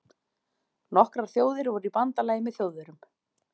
Nokkrar þjóðir voru í bandalagi með Þjóðverjum.